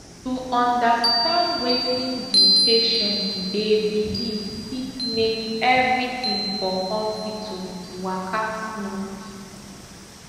to understand wetin di patient dey believe fit make everything for hospital waka smooth